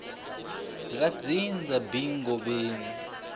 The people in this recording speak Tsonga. ra dzindza b ngobeni